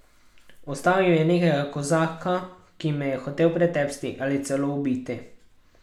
Ustavil je nekega kozaka, ki me je hotel pretepsti ali celo ubiti.